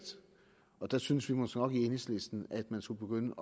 og der synes vi måske nok i enhedslisten at man skulle begynde